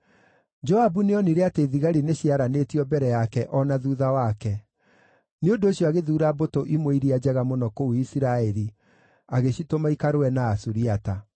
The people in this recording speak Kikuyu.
Joabu nĩonire atĩ thigari nĩciaranĩtio mbere yake o na thuutha wake; nĩ ũndũ ũcio agĩthuura mbũtũ imwe iria njega mũno kũu Isiraeli, agĩcitũma ikarũe na Asuriata.